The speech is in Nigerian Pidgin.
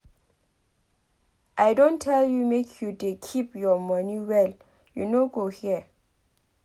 I don tell you make you dey keep your money well you no go hear